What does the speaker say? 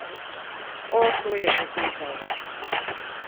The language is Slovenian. O, to je že vedel.